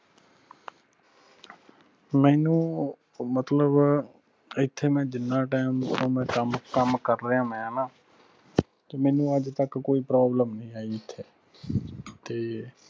ਮੈਨੂੰ ਮਤਲਬ ਇਥੇ ਮੈਂ ਜਿਨ੍ਹਾਂ time ਕੰਮਕੰਮ ਕੰਮ ਕਰ ਰਿਆਂ ਮੈਂ ਹਣਾ ਤੇ ਮੈਨੂੰ ਅੱਜ ਤੱਕ ਕੋਈ problem ਨਹੀਂ ਆਈ ਇਥੇ ਤੇ